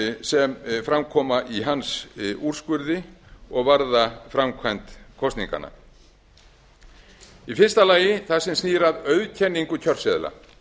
sem fram koma í hans úrskurði og varða framkvæmd kosninganna í fyrsta lagi það sem snýr að auðkenningu kjörseðla